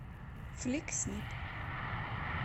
флик снип